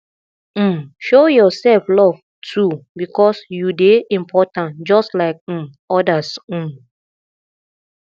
um show yourself love too because you dey important just like um others um